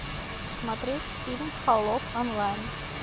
смотреть фильм холоп онлайн